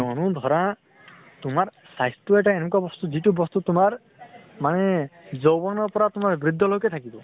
কিয়্নো ধৰা তোমাৰ স্বাস্থ্য় এটা এনুকা বস্তু যিটো বস্তু তোমাৰ মানে যৌৱনৰ পৰা তোমাৰ বৃদ্ধ লৈকে থাকিব।